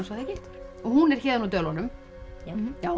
það ekki og hún er héðan úr Dölunum já